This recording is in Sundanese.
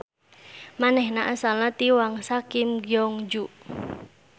Manehna asalna ti Wangsa Kim Gyeongju.